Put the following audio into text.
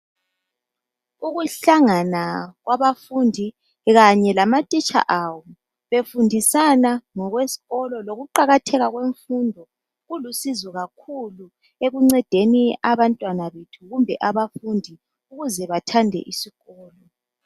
Ukuhlangana kwabafundi kanye lamatitsha abo befundisana ngokwesikolo lokuqakatheka kwemfundo kulusizo kakhulu ekuncedeni abantwana kumbe abafundi ukuze bathande isikolo.